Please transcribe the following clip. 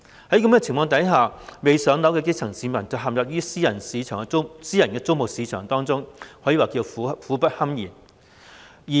在此情況下，未"上樓"的基層市民陷入私人租務市場當中，可謂苦不堪言。